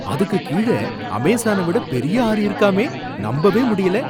அதுக்கு கீழ அமேசானை விட பெரிய ஆறு இருக்குகாமே! நம்பவே முடியல!